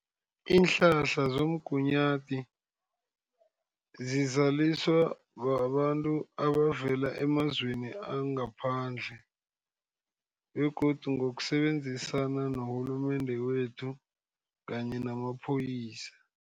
Iinhlahla zomgunyathi zizaliswa babantu abavela emazweni angaphandle, begodu ngokusebenzisana norhulumende wethu, kanye namapholisa.